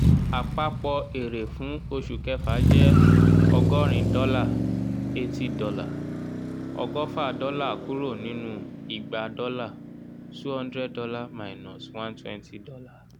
àpapọ̀ èrè fún oṣù kẹfà jẹ́ ọgọ́rin dọ́là eighty dollar ọgọfa dọ́là kúrò nínú igba dọ́lá two hundred dollar minus one twenty dollar.